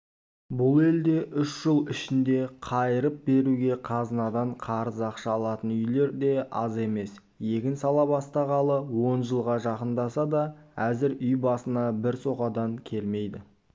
бұл елде үш жыл ішінде қайырып беруге қазынадан қарыз ақша алатын үйлер де аз емес егін сала бастағалы он жылға жақындаса да әзір үй басына бір соқадан келмейді